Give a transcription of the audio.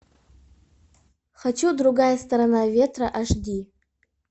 хочу другая сторона ветра аш ди